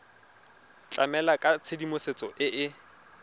tlamela ka tshedimosetso e e